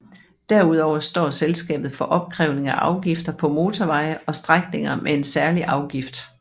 Derudover står selskabet for opkrævning af afgifter på motorveje og strækninger med en særlig afgift